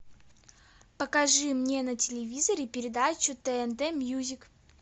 покажи мне на телевизоре передачу тнт мьюзик